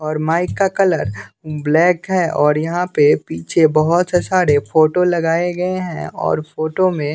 और माइक का colour black है और यहां पे पीछे बहोत सा सारे फोटो लगाए गए हैं और फोटो में--